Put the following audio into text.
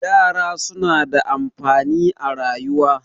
yara suna da amfani a rayuwa